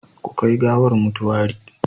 Ku kai gawar motuwari